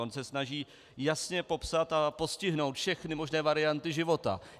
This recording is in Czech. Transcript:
On se snaží jasně popsat a postihnout všechny možné varianty života.